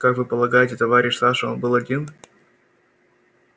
как вы полагаете товарищ саша он был один